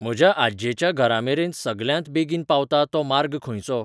म्हज्या आज्जेच्या घरामेरेन सगल्यांत बेगीन पावता तो मार्ग खंयचो?